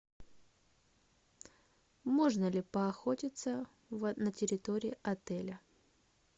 можно ли поохотиться на территории отеля